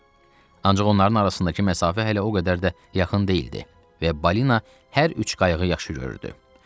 Ancaq onların arasındakı məsafə hələ o qədər də yaxın deyildi və balina hər üç qayığı yaxşı görürdü.